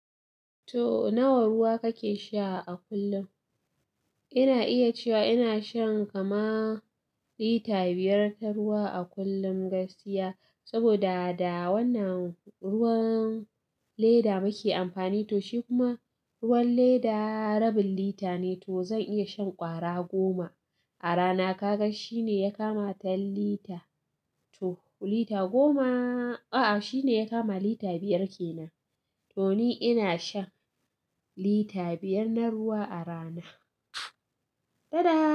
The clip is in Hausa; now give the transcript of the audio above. To nawa ruwa kake sha a kullum? Ina iya cewa ina shan kama lita biyar ta ruwa a kullum gaskiya. Saboda da wannan ruwan leda muke amfani, to shi kuma ruwan leda rabin lita ne. To zan iya shan ƙwara goma a rana. Kaga shi ne ya kama ten lita. To lita goma, a'a shi ne ya kama lita biyar ke nan. To ni ina shan lita biyar na ruwa a rana. Dada.